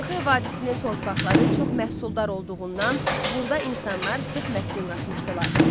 Xuanxe vadisinin torpaqları çox məhsuldar olduğundan burda insanlar sıx məskunlaşmışdılar.